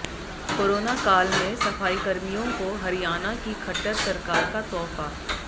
corona काल में सफाईकर्मियों को हरियाणा की खट्टर सरकार का तोहफा